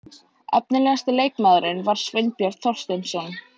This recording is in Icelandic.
Efnilegasti leikmaðurinn var Sveinbjörn Þorsteinsson.